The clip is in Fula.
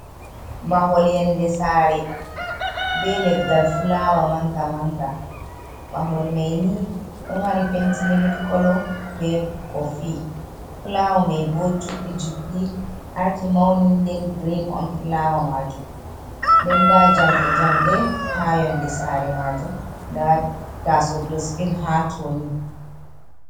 Mahol yonde saare be leggal fulaawa manga manga mahol mai ni ɗo mari penti millik kolo be bo fulaawa mai bo juɗɗi juɗɗi arti mauni nden grin on fulaawa majum den nda jamɗe jamɗe ha yonde saare majum nda taso dosbin ha to ni.